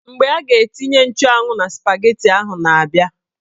Mgbe a ga-etinye nchụanwụ na spageti ahụ na-abia